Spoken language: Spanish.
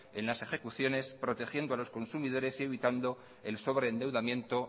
en las ejecuciones protegiendo a los consumidores y evitando el sobreendeudamiento